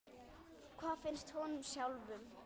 En hvað finnst honum sjálfum?